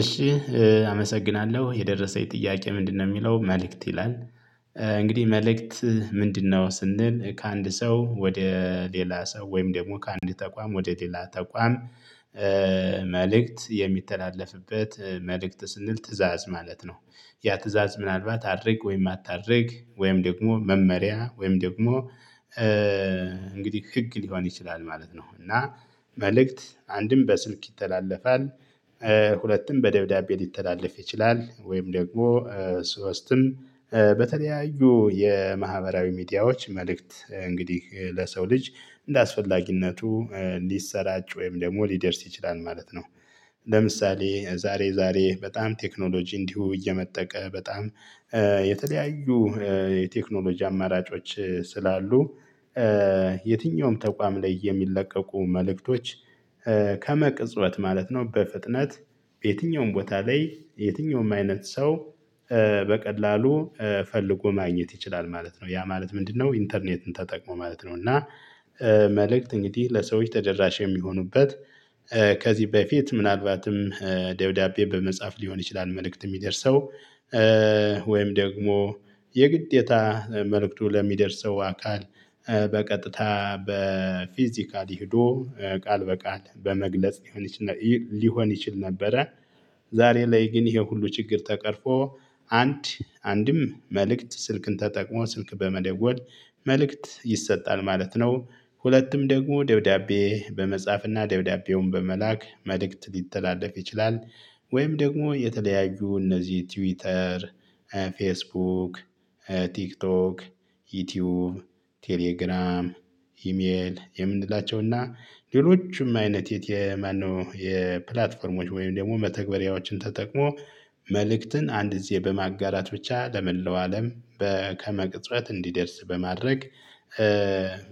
እሺ አመሰግናለሁ የደረሰኝ የጥያቄ ምንድነው የሚለው "መልእክት" ይላል። እንግዲህ "መልእክት ምንድነው?" ስንል ከአንድ ሰው ወደ ሌላ ሰው ወይም ደግሞ ከአንድ ተቋም ወደ ሌላ ተቋም መልእክት የሚተላለፍበት መልእክት ስንል ትእዛዝ ማለት ነው። ያ ትእዛዝ ምናልባት አድርግ ወይም አታድርግ ወይም ደግሞ መመሪያ ወይም ደግሞ እንግዲህ ህግ ሊሆን ይችላል ማለት ነው፤ እና መልእክት አንድም በስልክ ይተላለፋል፣ ሁለትም በደብዳቤ ሊተላለፍ ይችላል፣ ወይም ደግሞ ሶስትም በተለያዩ የማህበራዊ ሚዲያዎች መልእክት እንግዲህ ለሰው ልጅ እንደአስፈላጊነቱ ሊሰራጭ ወይም ደግሞ ሊደርስ ይችላል ማለት ነው። ለምሳሌ ዛሬ ዛሬ በጣም ቴክኖሎጂ እንዲሁ እየመጠቀ በጣም የተለያዩ የቴክኖሎጂ አማራጮች ስላሉ የትኛውም ተቋም ላይ የሚለቀቁ መልእክቶች ከመቅጽበት ማለት ነው በፍጥነት በየትኛውም ቦታ ላይ የትኛውም አይነት ሰው በቀላሉ ፈልጎ ማግኘት ይችላል ማለት ነው ያ ማለት ምንድነው ኢንተርኔትን ተጠቅሞ ማለት ነው፤ እና መልእክት እንግዲህ ለሰዎች ተደራሽ የሚሆኑበት ከዚህ በፊት ምናልባትም ደብዳቤ በመጻፍ ሊሆን ይችላል መልእክት የሚደርሰው፤ ወይም ደግሞ የግዴታ መልእክቱ ለሚደርሰው አካል በቀጥታ በፊዚካሊ ሄዶ ቃል በቃል በመግለጽ ሊሆን ይችል ነበረ። ዛሬ ላይ ግን ይሄ ሁሉ ችግር ተቀርፎ አንድ አንድም መልእክት ስልክን ተጠቅሞ ስልክ በመደወል መልእክት ይሰጣል ማለት ነው። ሁለትም ደግሞ ደብዳቤ በመጻፍና ደብዳቤውን በመላክ መልእክት ሊተላለፍ ይችላል። ወይም ደግሞ የተለያዩ እነዚህ ትዊተር፣ ፌስቡክ፣ ቲክቶክ፣ ዩቲዩብ፣ ቴሌግራም፣ ኢሜል የምንላቸው እና ሌሎችም አይነት የት የማነው የፕላትፎርሞች ወይም ደግሞ መተግበሪያዎችን ተጠቅሞ መልእክትን አንድ ግዜ በማጋራት ብቻ ለመላው አለም በ ከመቅጽበት እንዲደርስ በማድረግ